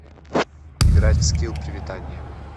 играть в скилл приветанье